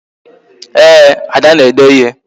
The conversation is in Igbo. Ee, Ada na-ede ịhe